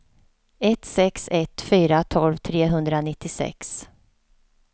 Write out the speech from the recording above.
ett sex ett fyra tolv trehundranittiosex